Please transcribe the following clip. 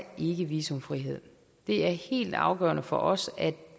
ikke visumfrihed det er helt afgørende for os at